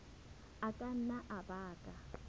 a ka nna a baka